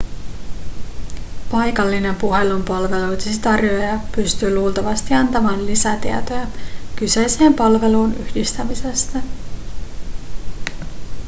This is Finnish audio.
paikallinen puhelinpalveluidesi tarjoaja pystyy luultavasti antamaan lisätietoja kyseiseen palveluun yhdistämisestä